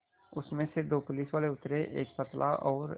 उसमें से दो पुलिसवाले उतरे एक पतला और